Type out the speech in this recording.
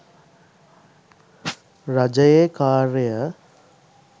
රජයේ කාර්ය